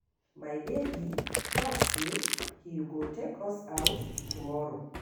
My baby talk say he go take us out tomorrow.